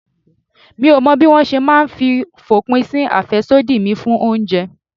Mi ò mọ̀ bí mo ṣe máa fòpin sí àfẹ́sódì mi fún oúnjẹ.